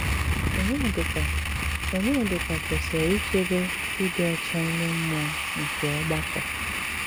Ọnyédíkà Ọnyédíkà kwesírè íchébè ídị́ ọ́chá ímé mmùọ́ nké ọ́gbàkọ́.